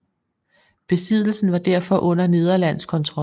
Besiddelsen var derfor under nederlandsk kontrol